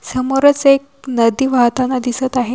समोरच एक नदी वाहताना दिसत आहे.